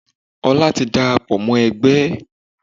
Ọlá ti dàràpọ̀ mọ́ ẹgbẹ́.